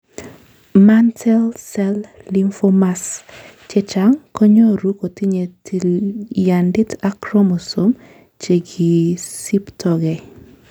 Mantel cell lymphomas chechang' kenyoru kotinye tilyandit ak chromosome chekosiptogei.